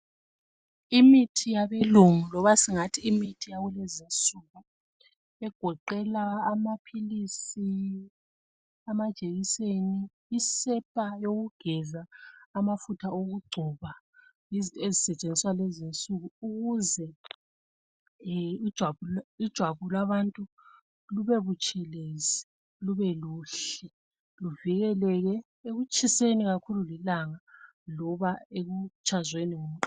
Imithi yabelungu loba singathi imithi yakukezinsuku egoqela amaphilisi , amajekiseni , isepa yokugeza amafutha okugcoba yizinto ezisetshenziswa kulezinsuku ukuze ijwabu labantu lube butshelezi lube kuhle luvikeleke ekutshiseni kakhulu lilanga loba ekutshazweni ngumqando